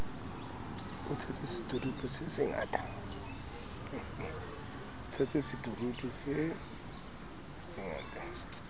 e tshetse seturupu se se